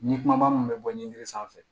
Ni kumaba min bɛ bɔ ɲinini sanfɛ